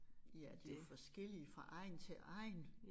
Ja de jo forskellige fra egn til egn